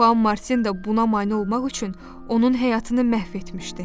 Xoan Martin də buna mane olmaq üçün onun həyatını məhv etmişdi.